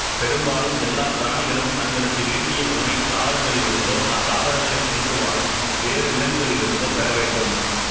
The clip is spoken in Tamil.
பெரும்பாலும் எல்லாப் பிராணிகளும் தங்களுக்கு வேண்டிய உணவைத் தாவரங்களிலிருந்தோ அத்தாவரங்களைத் தின்று வாழும் வேறு விலங்குகளிலிருந்தோ பெறவேண்டும்